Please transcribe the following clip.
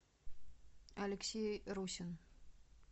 алексей русин